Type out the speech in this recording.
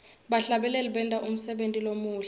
bahlabeleli benta umsebenti lomuhle